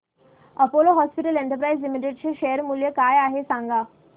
Apollo hospitals enterprise limited चे share मूल्य काय आहे सांगा